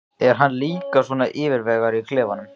Er hann líka svona yfirvegaður í klefanum?